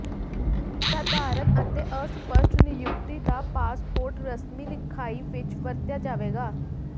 ਸਾਧਾਰਣ ਅਤੇ ਅਸਪਸ਼ਟ ਨਿਯੁਕਤੀ ਦਾ ਪਾਸਪੋਰਟ ਰਸਮੀ ਲਿਖਾਈ ਵਿੱਚ ਵਰਤਿਆ ਜਾਵੇਗਾ